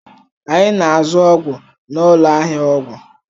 Anyị na-azụ ọgwụ n'ụlọ ahịa ọgwụ